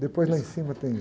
Depois lá em cima tem